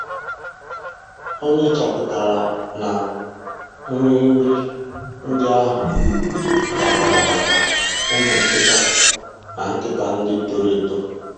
O nyochapụtara na nri nri ndị ahụ dabara maka ụmụ nkịta na nkịta ndị toro eto